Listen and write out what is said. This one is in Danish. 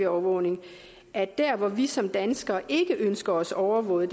overvågning at der hvor vi som danskere ikke ønsker os overvåget